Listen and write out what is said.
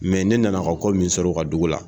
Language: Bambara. ne nana ka ko min sɔrɔ u ka dugu la